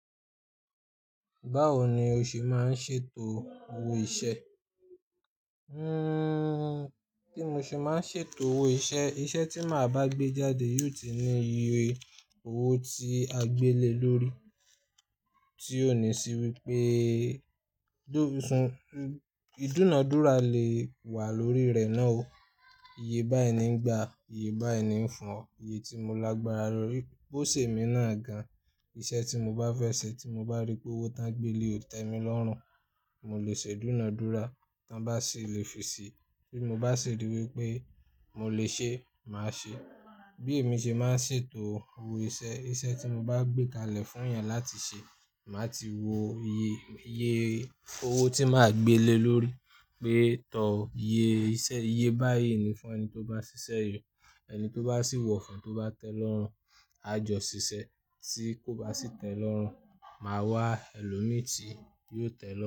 Báwo ni o ṣe máa ń ṣètò owó iṣẹ́? Hmm, kí mo ṣe máa ṣètò owó iṣẹ́, iṣẹ́ tí màá bá gbé jáde yóò ti ní iye owó tí a gbé lè lórí. Tí ó ní sí wípé ìdúnadúrà lè wà lórí rẹ̀ náà o. Iye báyi ní ń gba, iye báyi ní ń fún ọ. Iye tí mo lágbára lorí bó ṣe mi náà gan. Iṣẹ́ tí mo bá fẹ́ ṣe tí mo bá rí pé owó tán gbé le ò tẹ́ mi lọ́rùn, mo lè ṣe ìdúnadúrà. Tán bá sì le fi ṣí, bí mo bá ṣe rí wípé mo lè ṣe, màá ṣe. Bí èmi ṣe máa ń ṣètò owó iṣẹ́, iṣẹ́ tí mo bá gbé kalẹ̀ fún èèyàn láti ṣe, màá ti wo iye, iye owó tí màá gbé lè lórí. Pé tọ́ iye iṣẹ́, iye bá ẹ́ ní fún ẹni tó bá ṣiṣẹ́ yìí. Ẹni tó bá sì wọ̀ fún, tó bá tẹ́ lọ́rùn, a jọ ṣiṣẹ́. Tí kò bá sì tẹ́ lọ́rùn, màá wá ẹlòmíràn tí yóò tẹ́ lọ́rùn.